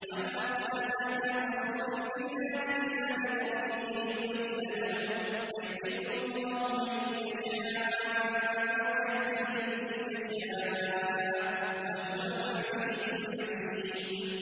وَمَا أَرْسَلْنَا مِن رَّسُولٍ إِلَّا بِلِسَانِ قَوْمِهِ لِيُبَيِّنَ لَهُمْ ۖ فَيُضِلُّ اللَّهُ مَن يَشَاءُ وَيَهْدِي مَن يَشَاءُ ۚ وَهُوَ الْعَزِيزُ الْحَكِيمُ